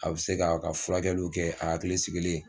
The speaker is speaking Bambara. A bɛ se k'a ka furakɛliw kɛ a hakili sigilen.